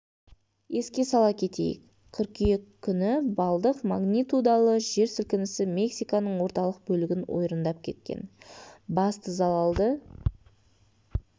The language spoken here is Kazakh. еске сала кетейік қыркүйек күні балдық магнитудалы жер сілкінісі мексиканың орталық бөлігін ойрандап кеткен басты залалды